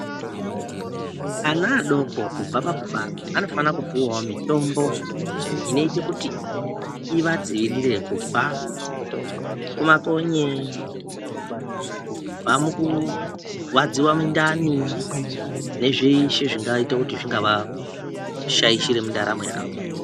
Ana adoko kubva pakubarwa anofana kupiwawo mitombo inoite kuti ivadzivirire kubva kumakonye, kubva mukurwadziwa mundani nezveshe zvingaita kuti zvingavashaishira mundaramo yavo.